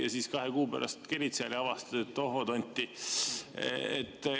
Ja siis sa kahe kuu pärast kerid seal ja avastad, et tohoo tonti.